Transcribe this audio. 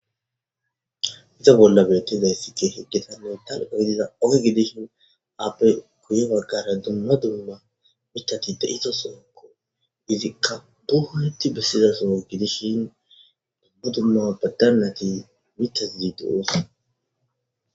Hayisa bolla betidayisi kehi daligga oge gidishini appe guye baggara duma duma mithati deyidosona izika dumati betida soho gidishin duma duma danati mithati deyosona